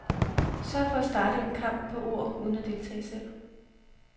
Sørg for at starte en kamp på ord uden at deltage selv.